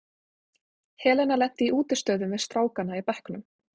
Helena lenti í útistöðum við strákana í bekknum.